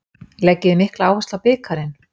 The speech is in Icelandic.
Leggið þið mikla áherslu á bikarinn?